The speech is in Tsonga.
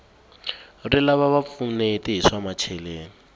rilava va pfuneti hi swa macheleni